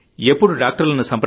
ఎప్పుడు డాక్టర్లను